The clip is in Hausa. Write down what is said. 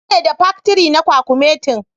ni ne da paktiri na kwakumetin.